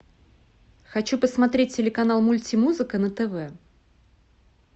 хочу посмотреть телеканал мультимузыка на тв